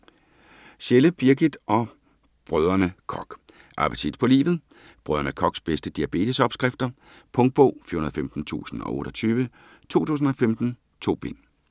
Schelde, Birgit og Brdr. Koch: Appetit på livet Brdr. Kochs bedste diabetesopskrifter. Punktbog 415028 2015. 2 bind.